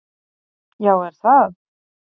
"""Já, er það?"""